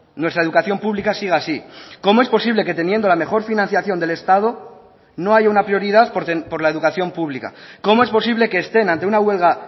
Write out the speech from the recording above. nuestra educación pública siga así cómo es posible que teniendo la mejor financiación del estado no haya una prioridad por la educación pública cómo es posible que estén ante una huelga